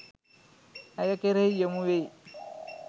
ඇය කෙරෙහි යොමු වෙයි